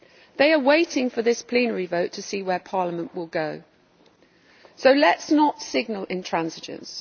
They are waiting for this plenary vote to see where Parliament will go, so let us not signal intransigence.